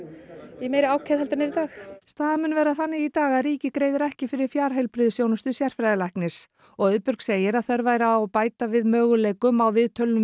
í meiri ákefð heldur en það er í dag staðan mun vera þannig í dag að ríkið greiðir ekki fyrir fjarheilbrigðisþjónustu sérfræðilæknis og Auðbjörg segir að þörf væri á bæta við möguleikum á viðtölum